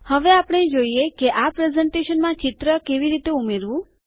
હવે આપણે જોઈએ કે આ પ્રેઝન્ટેશનમાં ચિત્ર કેવી રીતે ઉમેરવું